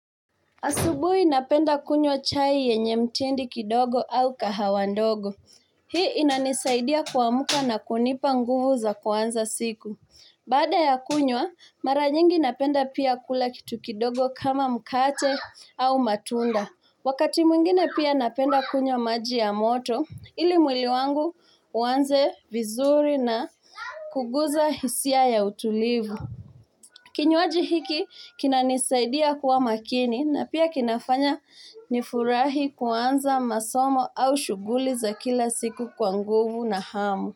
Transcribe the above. Asubuhi ninapenda kunywa chai yenye mtindi kidogo au kahawa ndogo. Hii inanisaidia kuamka na kunipa nguvu za kuanza siku. Baada ya kunywa, mara nyingi napenda pia kula kitu kidogo kama mkate au matunda. Wakati mwingine pia napenda kunywa maji ya moto ili mwili wangu uanze vizuri na kugusa hisia ya utulivu. Kinywaji hiki kinanisaidia kuwa makini na pia kinafanya nifurahi kuanza masomo au shughuli za kila siku kwa nguvu na hamu.